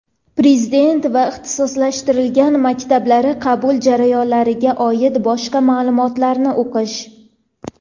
Prezident va ixtisoslashtirilgan maktablari qabul jarayonlariga oid boshqa ma’lumotlarni o‘qish.